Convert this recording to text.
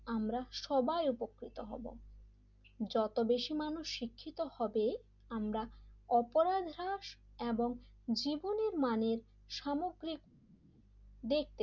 আমরা সবাই উপকৃত হব যত বেশি মানুষ শিক্ষিত হবে আমরা অপরানহার্স এবং জীবনের মানের সামগ্রিক দেখতে,